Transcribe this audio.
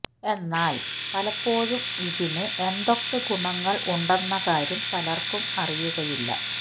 എന്നാല് പലപ്പോഴും ഇതിന് എന്തൊക്കെ ഗുണങ്ങള് ഉണ്ടെന്ന കാര്യം പലര്ക്കും അറിയുകയില്ല